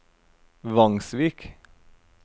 Vangsvik